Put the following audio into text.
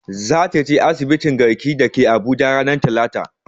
Za ta je asibitin garki da ke abuja ranar talata